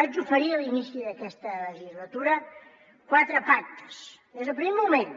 vaig oferir a l’inici d’aquesta legislatura quatre pactes des del primer moment